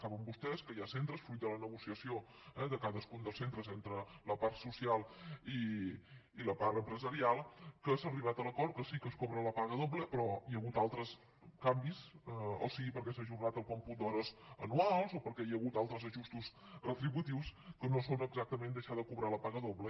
saben vostès que hi ha centres fruit de la negociació eh de cadascun dels centres entre la part social i la part empresarial que s’ha arribat a l’acord que sí que es cobra la paga doble però hi ha hagut altres canvis sigui perquè s’ha ajornat el còmput d’hores anuals o perquè hi ha hagut altres ajustos retributius que no són exactament deixar de cobrar la paga doble